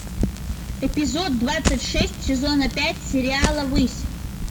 эпизод двадцать шесть сезона пять сериала высь